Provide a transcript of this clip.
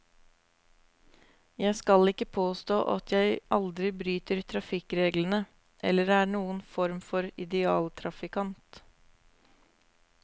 Jeg skal ikke påstå at jeg aldri bryter trafikkreglene, eller er noen form for idealtrafikant.